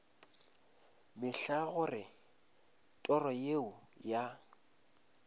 mehla gore toro yeo ya